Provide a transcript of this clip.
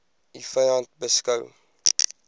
u vyand beskou